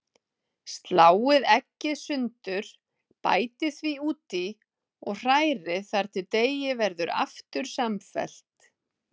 Sláið eggið sundur, bætið því út í og hrærið þar til deigið verður aftur samfellt.